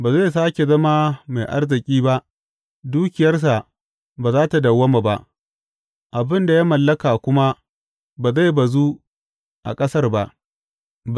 Ba zai sāke zama mai arziki ba, dukiyarsa ba za tă dawwama ba, abin da ya mallaka kuma ba zai bazu a ƙasar ba.